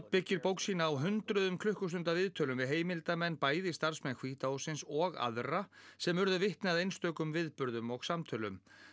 byggir bók sína á hundruðum klukkustunda af viðtölum við heimildarmenn bæði starfsmenn hvíta hússins og aðra sem urðu vitni að einstökum viðburðum og samtölum